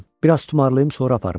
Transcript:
Bir az tumarlayım, sonra aparım.